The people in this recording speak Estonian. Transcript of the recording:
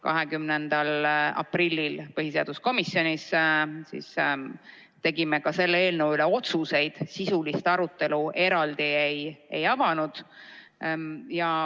20. aprillil me tegime põhiseaduskomisjonis ka selle eelnõu kohta otsused, sisulist arutelu eraldi ei avanud.